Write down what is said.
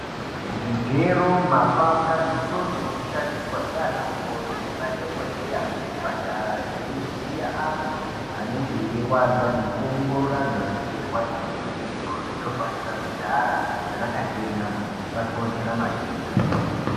Zvigero mapanga netsono dzoshandiswa ndiana mukoti nemadhokodheya muzvipatara veivhiya antu anenge erwadza nekuongorora antu anenge eirwadza mumwiri mwavo zvinofanira kugara zvakachena kuti zvisakonzera matenda.